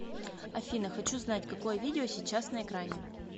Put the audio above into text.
афина хочу знать какое видео сейчас на экране